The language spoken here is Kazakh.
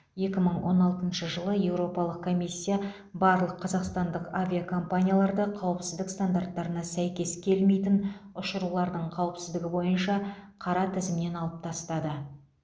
екі мың он алтыншы жылы еуропалық комиссия барлық қазақстандық авиакомпанияларды қауіпсіздік стандарттарына сәйкес келмейтін ұшырулардың қауіпсіздігі бойынша қара тізімнен алып тастады